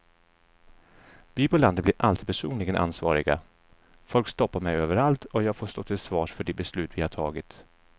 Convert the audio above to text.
Vi på landet blir alltid personligen ansvariga, folk stoppar mig överallt och jag får stå till svars för de beslut vi har tagit.